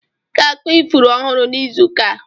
Ị ga-akụ ifuru ọhụrụ n'izu ụka a.